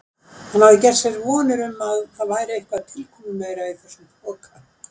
Hann hafði gert sér vonir um að það væri eitthvað tilkomumeira í þessum poka.